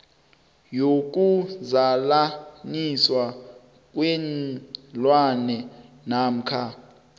yokuzalaniswa kweenlwana namkha